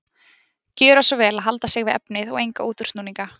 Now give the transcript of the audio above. Gjöra svo vel að halda sig við efnið og enga útúrsnúninga.